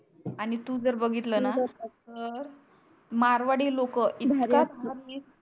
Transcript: आणि तु जर बगीतलणा अं मारवाडी लोक इतका भारी असतो भारविष